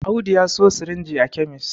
Audu ya siyo sirinji a kemis